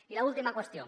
i l’última qüestió